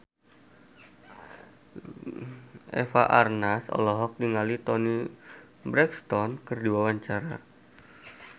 Eva Arnaz olohok ningali Toni Brexton keur diwawancara